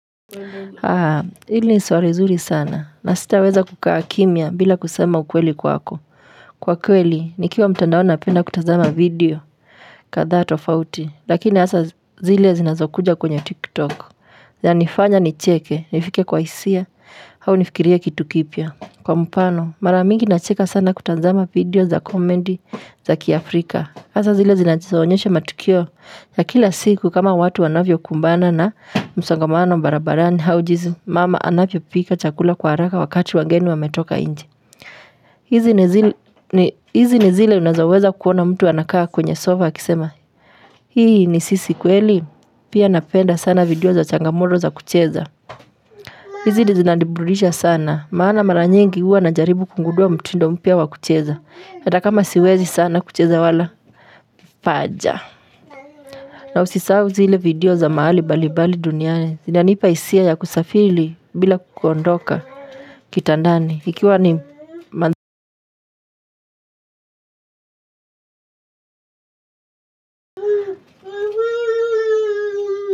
Ah hili ni swali zuri sana na sitaweza kukaa kimya bila kusema ukweli kwako. Kwa kweli nikiwa mtandaoni napenda kutazama video kadhaa tofauti lakini hasa zile zinazokuja kwenye Tik Tok. Zanifanya nicheke nifike kwa hisia au nifikirie kitu kipya. Kwa mfano mara mingi nacheka sana kutazama video za komedi za Kiafrika. Hasa zile zinazoonyesha matukio ya kila siku kama watu wanavyokumbana na msangamano barabarani au jinsi mama anavyopika chakula kwa haraka wakati wageni wametoka nje hizi ni zi. Hizi ni zile na unazoweza kuona mtu anakaa kwenye sofa akisema hii ni sisi kweli pia napenda sana video za changamoto za kucheza. Hizi ndi zinaburudisha sana, maana mara nyingi nikiwa najaribu kugundua mtindo mpya wa kucheza, hata kama siwezi sana kucheza wala paja. Na usisahau zile video za mahali balibali duniani zinanipa hisia ya kusafili bila kuondoka kitandani.